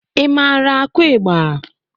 I maara akụ ịgba?